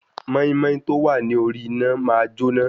Mọ́ímọ́í tọ́ wá ní orí iná máa jóná,